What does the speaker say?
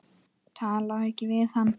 Talaðu ekki við hann.